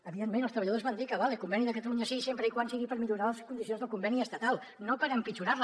evidentment els treballadors van dir que vale conveni de catalunya sí sempre que sigui per millorar les condicions del conveni estatal no per empitjorar les